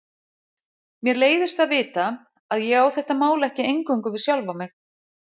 Mér leiðist að vita að ég á þetta mál ekki eingöngu við sjálfa mig.